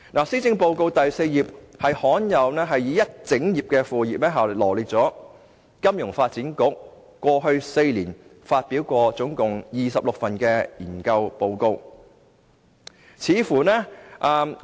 施政報告第4頁罕有地用了一整頁，來羅列金發局在過去4年發表的共26份研究報告。